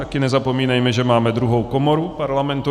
Také nezapomínejme, že máme druhou komoru Parlamentu.